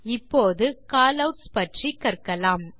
இப்போது காலவுட்ஸ் பற்றி கற்கலாம்